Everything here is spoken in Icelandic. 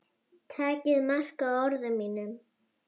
Takið mark á orðum mínum.